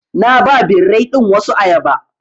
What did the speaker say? Na ba birrai ɗin wasu ayaba.